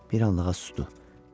Bir anlığa susdu.